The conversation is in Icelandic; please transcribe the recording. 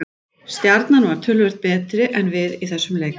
Stjarnan var bara töluvert betri en við í þessum leik.